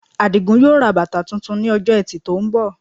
Àdìgún yóò ra bàtà tuntun ní Ọjọ́ Ẹtì tó ń bọ̀